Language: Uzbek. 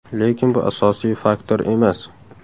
Lekin bu asosiy faktor emas.